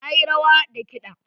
Na yi rawa da kiɗa.